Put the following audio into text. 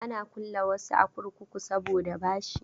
Ana kulle wasu a kurkuku saboda bashi.